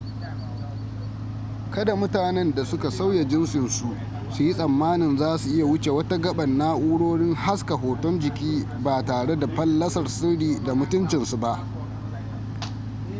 kada mutanen da suka sauya jinsinsu su yi tsammanin za su iya wuce wa ta gaban na'urorin haska hoton jiki ba tare da fallasar sirri da mutuncinsu ba